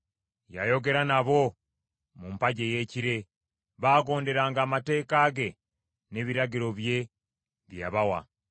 Yayogera nabo mu mpagi ey’ekire; baagondera amateeka ge n’ebiragiro bye, bye yabawa.